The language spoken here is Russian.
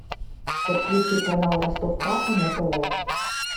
подключи канал ростов папа на тв